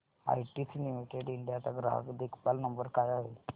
ITC limited India चा ग्राहक देखभाल नंबर काय आहे